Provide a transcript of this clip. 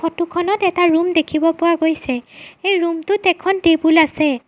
Photo খনত এটা room দেখিব পোৱা গৈছে সেই ৰূম টোত এখন টেবুল আছে।